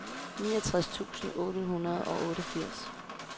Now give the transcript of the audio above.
niogtres tusind otte hundrede og otteogfirs